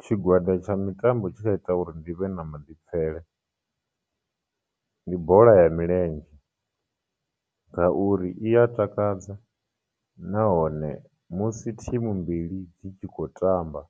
Tshigwada tsha mitambo tshe tsha ita uri ndi vhe na maḓipfele ndi bola ya milenzhe, ngauri iya takadza nahone musi team mbili dzi tshi khou tamba,